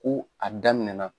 Ko a daminɛna.